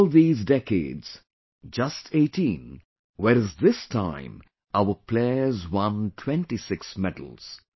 In all these decades just 18 whereas this time our players won 26 medals